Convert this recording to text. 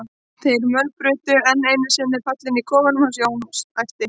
þeir mölbrutu enn einu sinni pallinn í kofanum hans Jóns, æpti